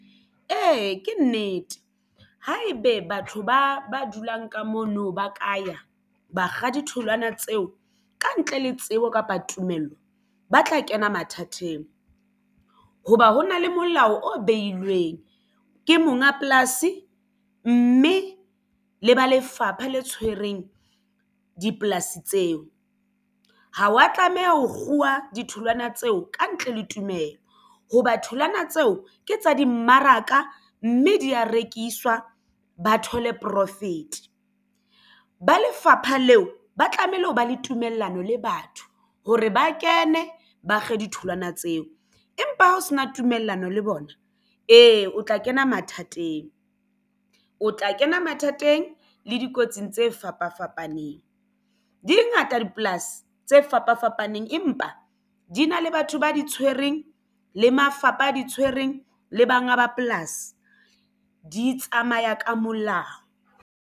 Ee, ke nnete ha ebe batho ba dulang ka mono ba ka ya bakga ditholwana tseo ka ntle le tsebo kapa tumello ba tla kena mathateng. Hoba ho na le molao o behilweng ke monga polasi mme le ba lefapha le tshwereng dipolasi tseo ha wa tlameha ho kguwa ditholwana tseo ka ntle le tumelo. Ho ba tholwana tseo, ya ke tsa dimmaraka mme di ya rekiswa. Ba thole profit ba lefapha leo ba tlamehile ho ba le tumellano le batho hore ba kene ba kge ditholwana tseo empa ha ho sena tumellano le bona ee o tla kena mathateng o tla kena mathateng le dikotsing tse fapafapaneng. Dingata dipolasi tse fapafapaneng empa di na le batho ba di tshwereng le mafapha a di tshwereng le banga ba polasi di tsamaya ka molao.